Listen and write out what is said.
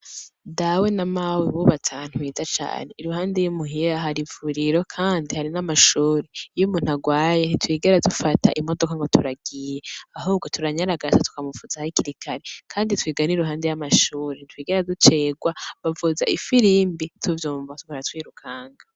Dawe na mawe bubatse ahantu heza cane. Iruhande y'imuhira hari ivuriro kandi hari n'amashure. Iyo umuntu arwaye ntitwigera dufata imodoka ngo turagiye ,ahubwo turanyaragasa tukamuvuza hakiri kare .Kandi twiga n' iruhande y'amashuri. Ntitwigera ducererwa bavuza ifirimbi tuvyumva tugaca twirukanga.